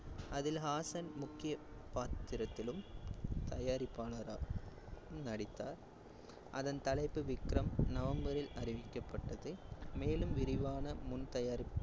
அதில் ஹாசன் முக்கிய பாத்திரத்திலும் தயாரிப்பாளராகவும் நடித்தார். அதன் தலைப்பு விக்ரம் நவம்பரில் அறிவிக்கப்பட்டது, மேலும் விரிவான முன் தயாரிப்பு